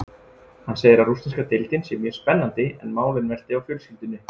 Hann segir að rússneska deildin sé mjög spennandi en málin velti á fjölskyldunni.